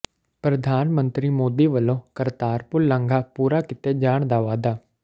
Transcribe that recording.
ਪ੍ਰਧਾਨ ਮੰਤਰੀ ਮੋਦੀ ਵੱਲੋਂ ਕਰਤਾਰਪੁਰ ਲਾਂਘਾ ਪੂਰਾ ਕੀਤੇ ਜਾਣ ਦਾ ਵਾਅਦਾ